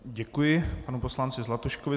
Děkuji panu poslanci Zlatuškovi.